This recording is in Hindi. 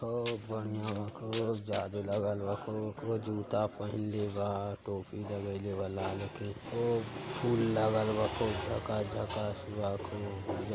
खूब बढ़िया बा। खूब जादू लागल बा। खू खूब जुत्ता पहीनले बा। टोपी लगाइले बा लाल के खूब फूल लागल बा खूब झकास झकास बा खूब --